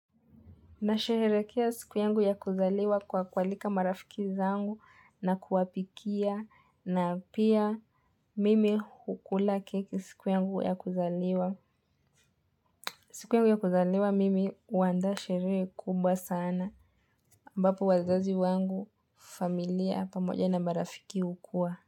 Na sherehekea siku yangu ya kuzaliwa kwa kualika marafiki zangu na kuwapikia na pia mimi hukula keki siku yangu ya kuzaliwa. Siku yangu ya kuzaliwa mimi huanda sherehe kubwa sana ambapo wazazi wangu familia pamoja na marafiki hukuwa.